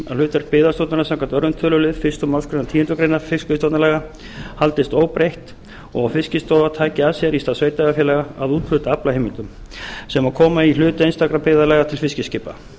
hlutverk byggðastofnunar samkvæmt öðrum tölulið fyrstu málsgreinar tíundu greinar fiskveiðistjórnarlaga haldist óbreytt og að fiskistofa taki að sér í stað sveitarfélaga að úthluta aflaheimildum sem koma í hlut einstakra byggðarlaga til fiskiskipa